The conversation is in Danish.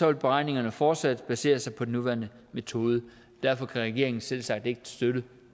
vil beregningerne fortsat basere sig på den nuværende metode derfor kan regeringen selvsagt ikke støtte